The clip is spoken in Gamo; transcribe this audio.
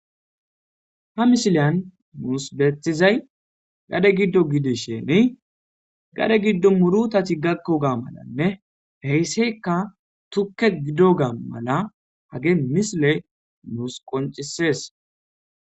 ha misiliyan nuusi bettizay gade giddo gidisheni gade giddo murutati gakko ga malanne heysseka tukke giddogaa mala hagey misile nuusi qoncisees